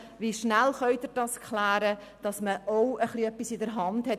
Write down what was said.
Wie schnell können Sie das klären, damit man etwas in der Hand hat?